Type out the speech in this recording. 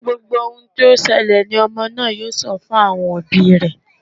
Gbogbo ohun tí ó ṣẹlẹ̀ ni ọmọ náà yóò sọ fún àwọn òbí rẹ.